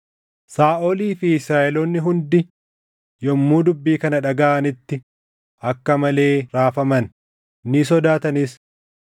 Saaʼolii fi Israaʼeloonni hundi yommuu dubbii kana dhagaʼanitti akka malee raafaman; ni sodaatanis.